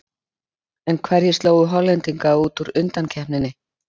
En hverjir slógu Hollendinga út úr undankeppninni?